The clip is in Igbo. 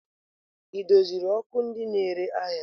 Ị doziri ọkụ ndị na-ere ahịa?